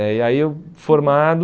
É, e aí eu formado...